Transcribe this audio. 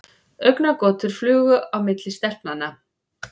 Augnagotur flugu á milli stelpnanna.